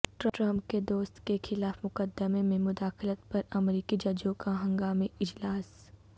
Trump کے دوست کے خلاف مقدمے میں مداخلت پر امریکی ججوں کا ہنگامی اجلاس